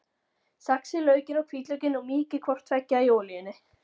Saxið laukinn og hvítlaukinn og mýkið hvort tveggja í olíunni.